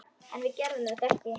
En við gerðum þetta ekki!